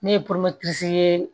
Ne ye ye